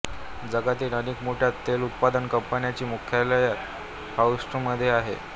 जगातील अनेक मोठ्या तेल उत्पादन कंपन्यांची मुख्यालये ह्युस्टनमध्ये आहेत